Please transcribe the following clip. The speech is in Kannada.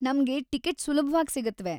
ನಮ್ಗೆ ಟಿಕಿಟ್‌ ಸುಲಭವಾಗಿ ಸಿಗುತ್ವೆ.